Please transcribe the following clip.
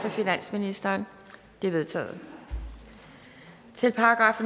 af finansministeren de er vedtaget til §